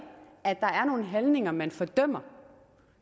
at der er nogle handlinger man fordømmer